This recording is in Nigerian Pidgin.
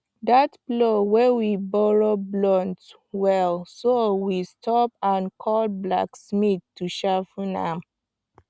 that plow we borrow blunt well so we stop and call blacksmith to sharpen am